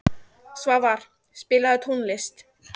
Svavar, spilaðu tónlist.